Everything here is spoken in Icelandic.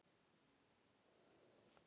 Ég tók það til mín.